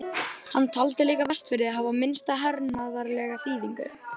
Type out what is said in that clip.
Hann taldi líka Vestfirði hafa minnsta hernaðarlega þýðingu.